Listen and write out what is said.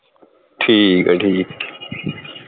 ਠੀਕ ਆ ਠੀਕ